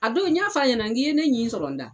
A don n y'a f'a ɲɛna n k'i ye ne ɲin sɔrɔ n da.